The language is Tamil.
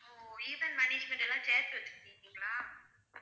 ஓ event management எல்லாம் சேர்த்து வச்சிருக்கீங்களா?